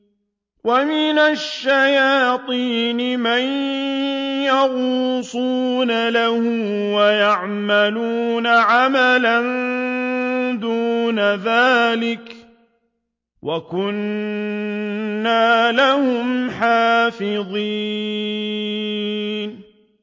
وَمِنَ الشَّيَاطِينِ مَن يَغُوصُونَ لَهُ وَيَعْمَلُونَ عَمَلًا دُونَ ذَٰلِكَ ۖ وَكُنَّا لَهُمْ حَافِظِينَ